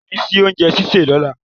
Kò ní sí oúnjẹ sísè lọ́la!